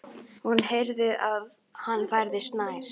Hún heyrði að hann færðist nær.